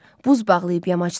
Buz bağlayıb yamacdar.